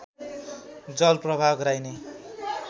जल प्रवाह गराइने